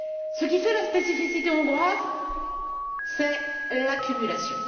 Ce qui fait la spécificité hongroise, c'est l'accumulation.